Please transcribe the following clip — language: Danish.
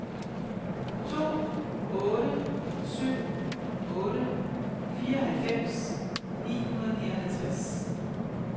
to otte syv otte fireoghalvfems ni hundrede og nioghalvtreds